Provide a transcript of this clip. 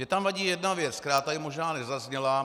Mně tam vadí jedna věc, která tady možná nezazněla.